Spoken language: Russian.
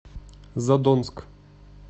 задонск